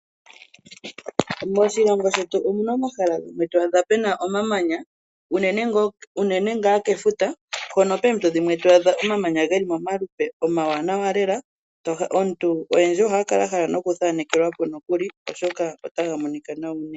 Moshilongo shetu omuna omahala gamwe to adha pena omamanya unene ngaa kefuta hono poompito dhimwe to adha omamanya geli momalupe omawanawa lela oyendji ohaya kala ya hala noku thanekelwapo nokuli oshoka otaga monika nawa unene.